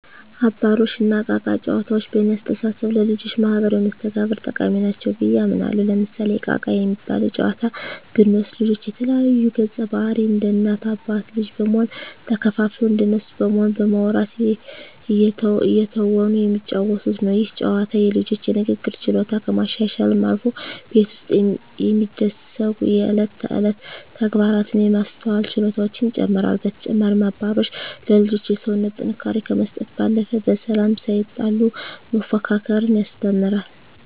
አባሮሽ እና እቃ እቃ ጨዋታዎች በእኔ አስተሳሰብ ለልጆች ማህበራዊ መስተጋብር ጠቃሚ ናቸው ብየ አምናለሁ። ለምሳሌ እቃ እቃ የሚባለውን ጨዋታ ብንወስድ ልጆች የተለያዩ ገፀባህርይ እንደ እናት አባት ልጅ በመሆን ተከፋፍለው እንደነሱ በመሆን በማዉራት እየተወኑ የሚጫወቱት ነው። ይህ ጨዋታ የልጆቹን የንግግር ችሎታ ከማሻሻልም አልፎ ቤት ውስጥ የሚደሰጉ የእለት ተእለት ተግባራትን የማስተዋል ችሎታቸውን ይጨመራል። በተጨማሪም አባሮሽ ለልጆች የሰውነት ጥንካሬ ከመስጠት ባለፈ በሰላም ሳይጣሉ መፎካከርን ያስተምራል።